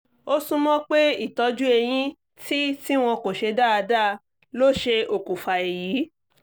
ó súnmọ́ pé ìtọ́jú eyín tí tí wọn kò ṣe dáadáa ló ṣe okùnfà èyí